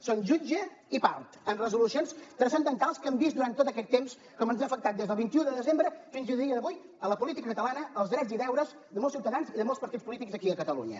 són jutge i part en resolucions transcendentals que hem vist durant tot aquest temps com ens ha afectat des del vint un de desembre fins al dia d’avui en la política catalana els drets i deures de molts ciutadans i de molts partits polítics aquí a catalunya